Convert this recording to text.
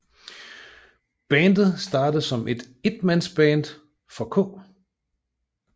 Bandet startede som et enmandsband for K